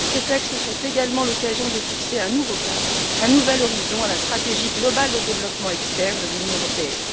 Ces textes sont également l'occasion de fixer un nouveau cap, un nouvel horizon à la stratégie globale de développement externe de l'Union européenne.